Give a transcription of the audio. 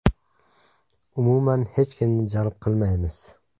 Umuman, hech kimni jalb qilmaymiz.